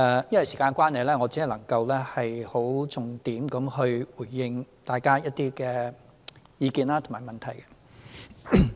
由於時間關係，我只能夠重點回應大家的一些意見和問題。